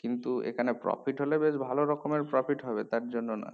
কিন্তু এখানে profit হলে বেশ ভালো রকমের profit হবে তার জন্য না